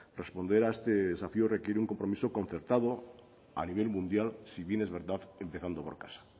responder a este desafío requiere de un compromiso concertado a nivel mundial si bien es verdad empezando por casa